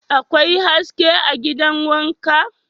Akwai haske a gidan wanka?